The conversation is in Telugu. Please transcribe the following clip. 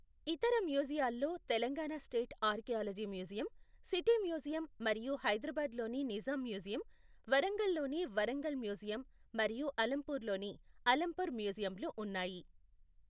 ఇతర మ్యూజియాల్లో Telangana state archaeology museum, city museum మరియు హైదరాబాద్లోని నిజాం మ్యూజియం, వరంగల్లోని వరంగల్ మ్యూజియం మరియు అలంపూర్లోని అలంపూర్ మ్యూజియమ్లు ఉన్నాయి.